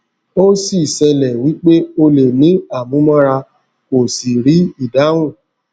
o sì sele wípé ó lè ní amu mọra kò sì ri ìdáhùn